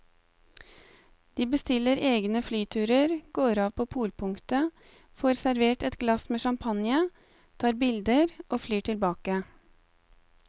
De bestiller egne flyturer, går av på polpunktet, får servert et glass med champagne, tar bilder og flyr tilbake.